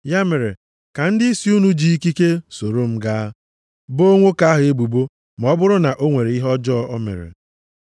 Ya mere, ka ndịisi unu ji ikike soro m gaa, boo nwoke ahụ ebubo ma ọ bụrụ na o nwere ihe ọjọọ o mere.”